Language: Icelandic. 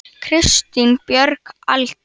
Kristín Björg Aldur?